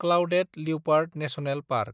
clouded leopard national park